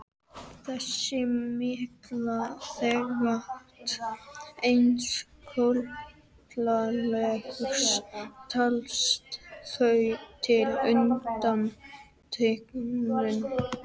Þessi mikla þykkt eins kolalags telst þó til undantekninga.